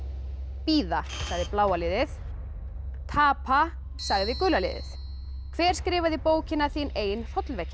bíða sagði bláa liðið tapa sagði gula liðið hver skrifaði bókina þín ein hrollvekja